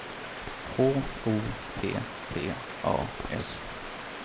H O P P A S